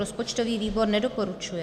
Rozpočtový výbor nedoporučuje.